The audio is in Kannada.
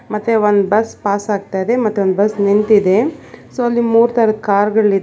ಮತ್ತೆ ಒಂದ್ ಬಸ್ ಪಾಸ್ ಆಗ್ತಾ ಇದೆ ಮತ್ತೆ ಒಂದ್ ಬಸ್ ನಿಂತಿದೆ ಸೋ ಅಲ್ಲಿ ಮೂರ್ ತರದ್ ಕಾರ್ ಗಳಿದೆ.